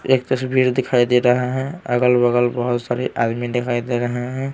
एक तस्वीर दिखाई दे रहा है अगल-बगल बहुत सारे आदमी दिखाई दे रहे हैं।